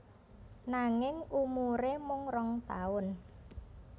Nanging umuré mung rong taun